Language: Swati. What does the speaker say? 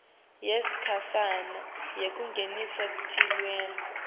yesikhashane yekungenisa tilwane